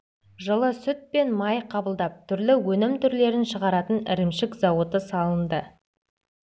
жылы сүт пен майды қабылдап түрлі өнім түрлерін шығаратын ірімшік зауыты салынды